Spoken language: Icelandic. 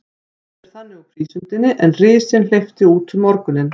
Komust þeir þannig úr prísundinni, er risinn hleypti út um morguninn.